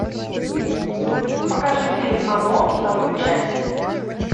покажи фильм оно вторую часть